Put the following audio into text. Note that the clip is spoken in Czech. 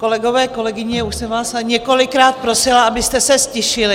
Kolegyně, kolegové, už jsem vás několikrát prosila, abyste se ztišili.